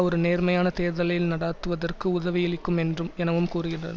ஒரு நேர்மையான தேர்தலை நடாத்துவதற்கு உதவியளிக்கும் என்றும் எனவும் கூறுகின்ற